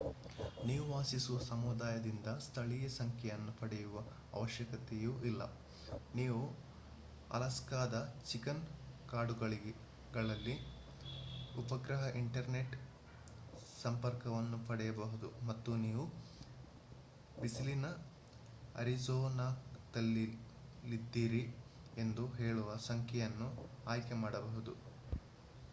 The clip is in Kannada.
ನೀವು ವಾಸಿಸುವ ಸಮುದಾಯದಿಂದ ಸ್ಥಳೀಯ ಸಂಖ್ಯೆಯನ್ನು ಪಡೆಯುವ ಅವಶ್ಯಕತೆಯೂ ಇಲ್ಲ ನೀವು ಅಲಾಸ್ಕಾದ ಚಿಕನ್ ಕಾಡುಗಳಲ್ಲಿ ಉಪಗ್ರಹ ಇಂಟರ್ನೆಟ್ ಸಂಪರ್ಕವನ್ನು ಪಡೆಯಬಹುದು ಮತ್ತು ನೀವು ಬಿಸಿಲಿನ ಅರಿಜೋನಾದಲ್ಲಿದ್ದೀರಿ ಎಂದು ಹೇಳುವ ಸಂಖ್ಯೆಯನ್ನು ಆಯ್ಕೆ ಮಾಡಬಹುದು